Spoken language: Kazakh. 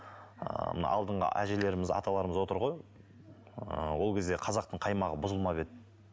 ыыы мына алдыңғы әжелеріміз аталарымыз отыр ғой ыыы ол кезде қазақтың қаймағы бұзылмап еді